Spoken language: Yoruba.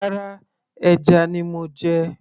rárá, ẹja ni mo jẹ